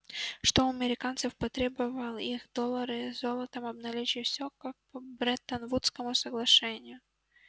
что у американцев потребовал их доллары золотом обналичить всё как по бреттон-вудскому соглашению